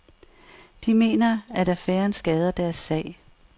De mener, at affæren skader deres sag.